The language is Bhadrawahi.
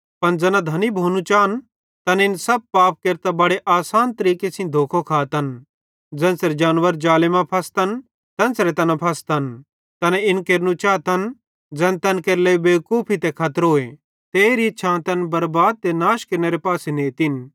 पन ज़ै धनी भोनो चाए तैना इन सब पाप केरतां बड़े आसान तरीके सेइं धोखो खातन ज़ेन्च़रे जानवर ज़ाले मां फसतन तेन्च़रे तैना फसतन तैना इन केरनू चातन ज़ैन तैन केरे लेइ बेवकूफी ते खतरोए ते एरी इच्छां तैन बरबाद ते नाश केरनेरे पासे नेतिन